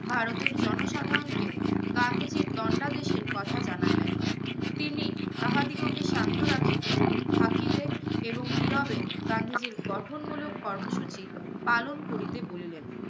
ভারতের জনসাধারণকে গান্ধীজীর দণ্ডাদেশের কথা জানাইলেন। তিনি তাহাদিগকে শান্ত রাখিতে. থাকিতে এবং নীরবে গান্ধীজীর গঠনমূলক কর্মসূচি পালন করিতে বলিলেন।